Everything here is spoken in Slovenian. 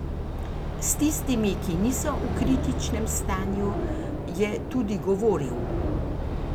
S tistimi, ki niso v kritičnem stanju, je tudi govoril.